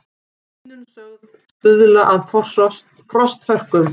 Hlýnun sögð stuðla að frosthörkum